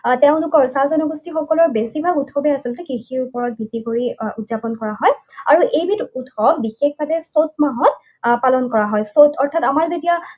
আহ তেওঁলোকৰ চাহ জনগোষ্ঠীসকলৰ বেছিভাগ উৎসৱেই আচলতে কৃষিৰ ওপৰত ভিত্তি কৰি উৎযাপন কৰা হয়। আৰু এইবিধ উৎসৱ বিশেষভাৱে চত মাহত আহ পালন কৰা হয়। চত অৰ্থাৎ আমাৰ যেতিয়া